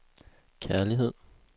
kærlighed